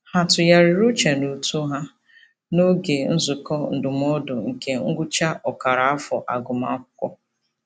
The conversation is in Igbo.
Ha tụgharịrị uche n'uto ha n'oge nzukọ ndụmọdụ nke ngwụcha ọkara afọ agụmakwụkwọ.